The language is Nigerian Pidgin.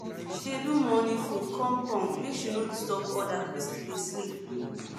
she dey do morning food calm calm make she no disturb others wey still dey sleep